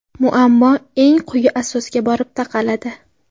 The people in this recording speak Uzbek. Muammo eng quyi asosga borib taqaladi.